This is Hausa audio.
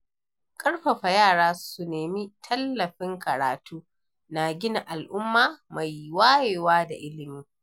Ƙarfafa yara su nemi tallafin karatu na gina al'umma mai wayewa da ilimi.